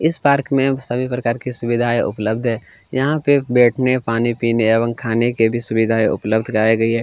इस पार्क में सभी प्रकार की सुविधाए उपलब्ध हैयहाँ पे बैठने पानी पीने एवं खाने की भी सुविधाए उपलब्ध कराई गई है ।